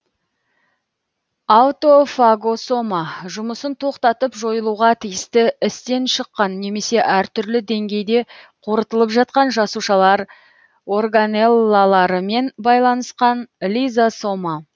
аутофагосома жұмысын тоқтатып жойылуға тиісті істен шыққан немесе әртүрлі деңгейде қорытылып жатқан жасушалар органеллаларымен байланысқан лизосома